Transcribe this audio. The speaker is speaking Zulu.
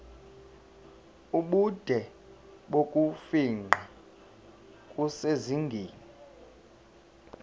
ubude bokufingqa kusezingeni